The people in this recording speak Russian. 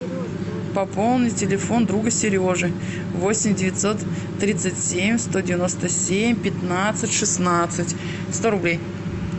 пополни телефон друга сережи восемь девятьсот тридцать семь сто девяносто семь пятнадцать шестнадцать сто рублей